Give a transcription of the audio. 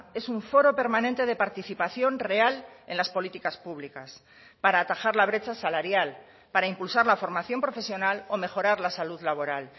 es un foro permanente de participación real en las políticas públicas para atajar la brecha salarial para impulsar la formación profesional o mejorar la salud laboral